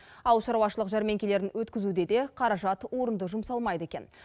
ауылшаруашылық жәрмеңкелерін өткізуде де қаражат орынды жұмсалмайды екен